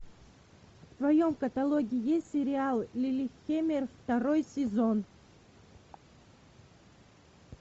в твоем каталоге есть сериал лиллехаммер второй сезон